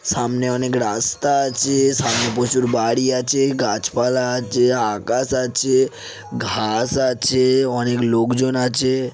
সামনে অনেক রাস্তা আছে সামনে প্রচুর বাড়ি আছে গাছপালা আছে আকাশ আছে ঘাস আছে অনেক লোকজন আছে।